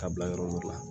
Ka bila yɔrɔ wɛrɛ